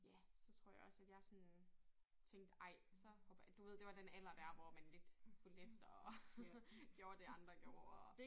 Ja så tror jeg også at jeg sådan tænkte ej så hopper jeg du ved det var den alder dér hvor man lidt fulgte efter og gjorde det andre gjorde